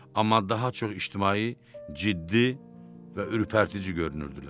Amma daha çox ictimai, ciddi və ürpərtici görünürdülər.